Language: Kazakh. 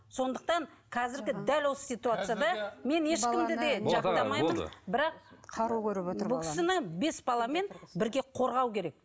сондықтан қазіргі дәл осы ситуацияда мен ешкімді де жақтамаймын бірақ бұл кісіні бес баламен бірге қорғау керек